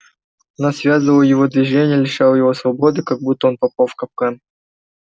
она связывала его движения лишала его свободы как будто он попал в капкан